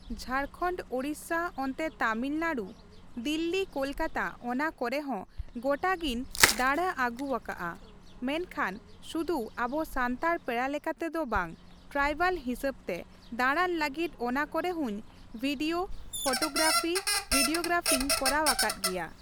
ᱡᱷᱟᱲᱠᱷᱟᱰ ᱩᱲᱤᱥᱥᱟ ᱚᱱᱛᱮ ᱛᱟᱹᱢᱤᱞᱱᱟᱲᱩ, ᱫᱤᱞᱞᱤ ᱠᱳᱞᱠᱟᱛᱟ ᱚᱱᱟ ᱠᱚᱨᱮ ᱦᱚᱸ ᱜᱚᱴᱟ ᱜᱮᱧ ᱫᱟᱬᱟ ᱟᱹᱜᱩ ᱟᱠᱟᱜᱼᱟ ᱾ ᱢᱮᱱ ᱠᱷᱟᱱ ᱥᱩᱫᱩ ᱟᱵᱚ ᱥᱟᱱᱛᱟᱲ ᱯᱮᱲᱟ ᱞᱮᱠᱟᱛᱮ ᱫᱚ ᱵᱟᱝ ᱴᱨᱟᱭᱵᱮᱞ ᱦᱤᱥᱟᱹᱵᱽ ᱛᱮ ᱫᱟᱲᱟᱱ ᱞᱟᱹᱜᱤᱫ ᱚᱱᱟ ᱠᱚᱨᱮ ᱦᱚᱸᱧ ᱵᱷᱤᱰᱭᱳ, ᱯᱷᱳᱴᱳ ᱜᱽᱨᱟᱯᱷᱤ ᱵᱷᱤᱰᱭᱳ ᱜᱽᱨᱟᱯᱷᱤᱧ ᱠᱚᱨᱟᱣ ᱟᱠᱟᱫ ᱜᱮᱭᱟ ᱾